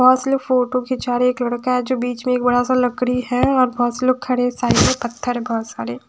बहोत से लोग फोटो खिंचा रहे एक लड़का है जो बीच में एक बड़ा सा लकड़ी है और बहोत से लोग खड़े साइड में पत्थर है बहोत सारे --